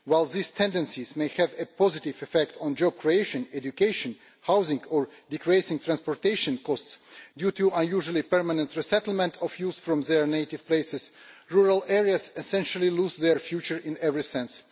Whilst these tendencies may have a positive effect on job creation, education, housing or decreasing transportation costs due to usually permanent resettlement from their native places, rural areas essentially lose their future in every sense.